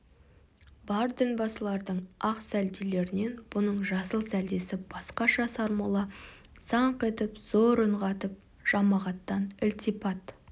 бар дінбасылардың ақ сәлделерінен бұның жасыл сәлдесі басқаша сармолла саңқ етіп зор үн қатып жамағаттан ілтипат